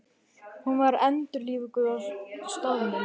Hún var endurlífguð á staðnum